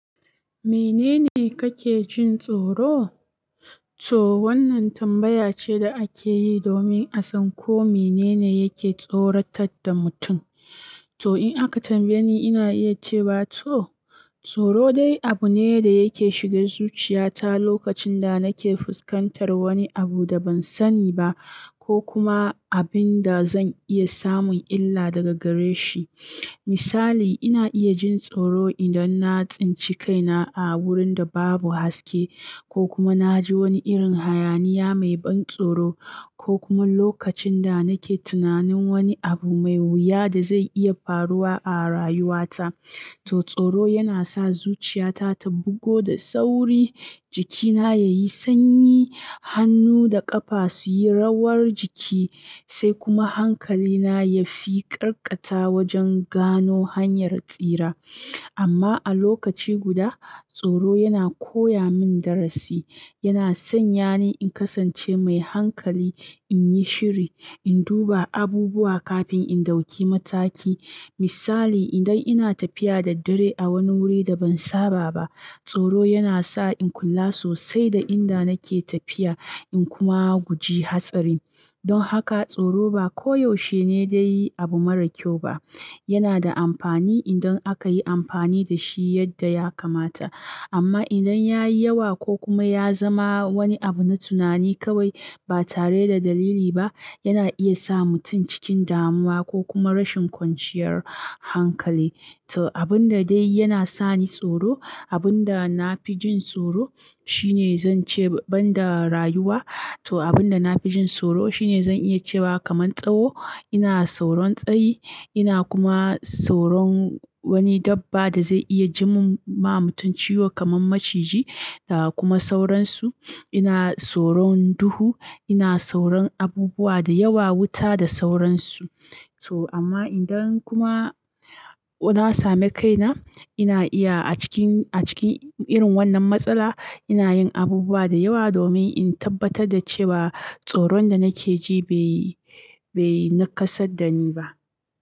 "Mene ne kake jin tsoro?" To wannan tambaya ce da ake yi domin a san ko mene ne yake tsorata da mutum. To, in aka tambaye ni ina iya cewa to, tsoro dai abune da yake shige zuciya ta a lokacin da nake fuskantar wani abu da ban sani ba, ko kuma abinda zan iya samun illa daga gareshi. Misali, ina iya jin tsoro idan na tsinci kaina a wurin da babu haske ko kuma na ji wani irin hayaniya mai ban tsoro ko kuma lokacin da nake tunanin wani abu mai wuya da zai iya faruwa a rayuwa ta. To tsoro yana sa zuchiya ta ta bugo da sauri, jikina ya yi sanyi, hannu da ƙafa su yi rawar jiki sai kuma hankali na ya fi ƙarkata wajen gano hanyar tsira. Amma a lokaci guda, tsoro yana koya min darasi, yana sanya ni in kasance mai hankali, in yi shiri, in duba abubuwa kafin in ɗauki mataki. Misali, idan ina tafiya da dare a wani wuri da ban saba ba, tsoro yana sa in kula sosai da inda nake tafiya, in kuma guji hatsari. Don haka tsoro ba ko yaushe ne dai abu mara kyau ba. Yana da amfani idan aka yi amfani da shi yadda ya kamata. Amma idan ya yi yawa ko kuma ya zama wani abu na tunani kawai ba tare da dalili ba, yana iya sa mutum cikin damuwa ko kuma rashin kwanciyar hankali. To abun da dai yana sa ni tsoro, abun da na fi jin tsoro shine zan ce banda rayuwa, to abun da na fi jin tsoro shine zan iya cewa kamar tsawo, ina tsoron tsayi, ina kuma tsoron wani dabba da zai iya ji mun ma mutum ciwo kamar maciji da kuma sauransu. Ina sauron duhu, ina sauron abubuwa da yawa, wuta da sauransu. To amma idan kuma na sami kaina, ina iya a cikin, a cikin irin wannan matsala, ina yin abubuwa da yawa domin in tabbatar da cewa tsoron da nake ji bai, bai nakasa da ni ba.